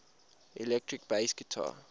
electric bass guitar